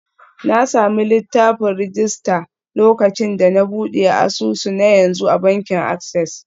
Na sami littafin rajista lokacin da na buɗe asusu na yanzu a bankin Access.